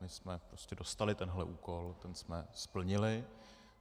My jsme prostě dostali tento úkol, ten jsme splnili.